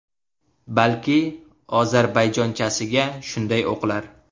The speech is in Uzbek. Balki ozarbayjonchasiga shunday o‘qilar.